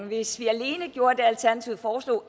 hvis vi alene gjorde det alternativet foreslår